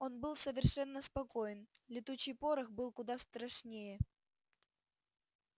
он был совершенно спокоен летучий порох был куда страшнее